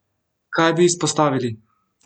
Kaj bi izpostavili?